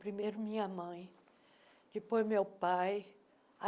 Primeiro minha mãe, depois meu pai.